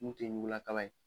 Mun tɛ ɲugulakaba ye.